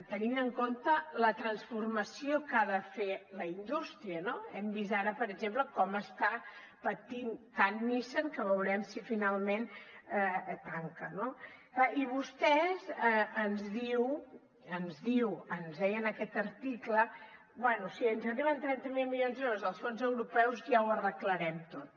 tenint en compte la transformació que ha de fer la indústria no hem vist ara per exemple com està patint tant nissan que veurem si finalment tanca no i vostè ens diu ens deia en aquest article bé si ens arriben trenta miler milions d’euros dels fons europeus ja ho arreglarem tot